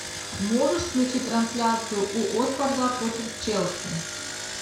можешь включить трансляцию уотфорда против челси